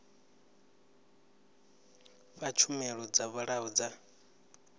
fha tshumelo dzo vhalaho dza